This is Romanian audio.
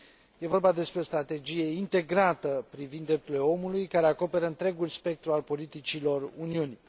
Este vorba despre o strategie integrată privind drepturile omului, care acoperă întregul spectru al politicilor Uniunii.